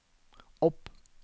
opp